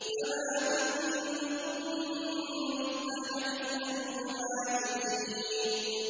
فَمَا مِنكُم مِّنْ أَحَدٍ عَنْهُ حَاجِزِينَ